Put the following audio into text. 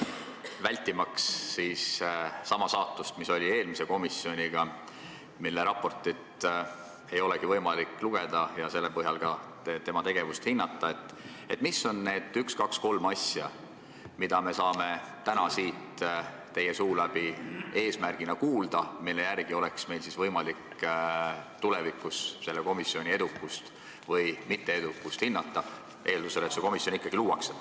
Vältimaks sama saatust, mis oli eelmisel komisjonil, mille raportit ei olegi võimalik lugeda ja selle põhjal tema tegevust hinnata, öelge, mis on need üks-kaks-kolm asja, mida me saame täna siit teie suu läbi eesmärgina kuulda, mille järgi oleks meil võimalik tulevikus selle komisjoni edukust või mitteedukust hinnata, eeldusel, et see komisjon ikkagi luuakse.